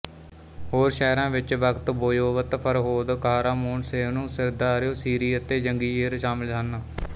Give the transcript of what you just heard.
ਹੋਰ ਸ਼ਹਿਰਾਂ ਵਿੱਚ Bakht Boyovut Farhod Qahramon Sayhun Sirdaryo Shirin ਅਤੇ ਯੰਗੀਯੇਰ ਸ਼ਾਮਿਲ ਹਨ